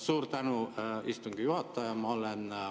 Suur tänu, istungi juhataja!